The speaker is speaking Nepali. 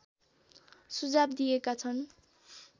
सुझाव दिएका छन्